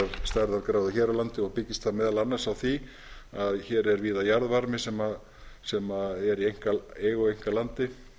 stærðargráða hér á landi og byggist það meðal annars á því að hér er víða jarðvarmi sem er í einkaeigu á einkalandi